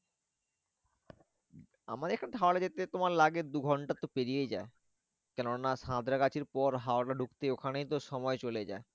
আমার এখান থেকে হাওড়া যেতে তোমার লাগে দু ঘন্টা তো পেরিয়ে যায়। কেন না সাঁতরাগাছি পর হাওড়া ঢুকতে ওখানেই তো সময় চলে যায়।